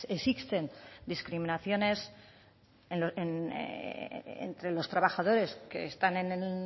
existen discriminaciones entre los trabajadores que están en el